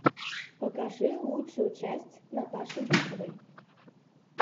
покажи лучшую часть наташи быковой